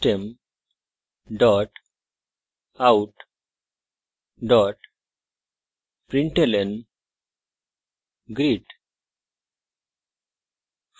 system out println greet;